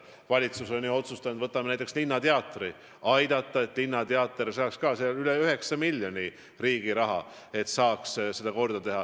Valitsus on ju otsustanud näiteks aidata, et linnateater saaks korda, selleks eraldati üle 9 miljoni euro riigi raha.